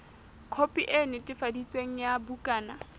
khopi e netefaditsweng ya bukana